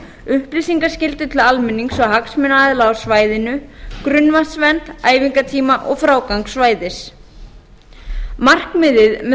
upplýsingaskyldu til almennings og hagsmunaaðila á svæðinu grunnvatnsvernd æfingatíma og frágangi svæðis markmiðið með